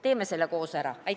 Teeme selle koos ära!